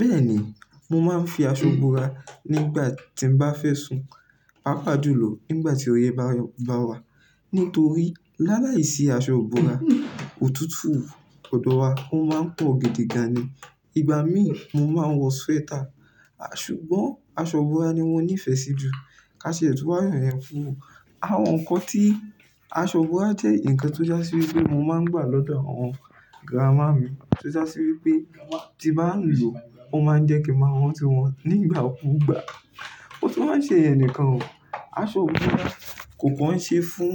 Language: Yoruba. Bẹ́ẹ̀ni, mo máa ń fi aṣọ bora nígbà tí mo bá fẹ́ sùn, pàápàá jùlọ nígbà tí ọyẹ̀ bá wà. Nítorí láàláa ì sí asọ ìbora, òtútù ọ̀dọ̀ wa ó máa ń pọ̀ gidi gan ni. Ìgbà míì mo máa ń wọ sweater. Ṣùgbọ́n aṣọ búra ni mo nífẹ̀ẹ́ sí jù. Ká ṣe ètò àyànfẹ́ fún òun. Àwọn nǹkan tí aṣọ búra jẹ́ nǹkan tó já sí wípé mo máa ń gbà lọ́dọ̀ àwọn gírámà mi. Tójá sí wípé tí bá lò ó máa ń jẹ́ kí máa wọ́n tó wọn nígbà kú gbà. Ó tún máa ń ṣe ẹnìkan o. Aṣọ bora kò kàn ṣe fún